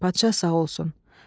Padşah sağ olsun."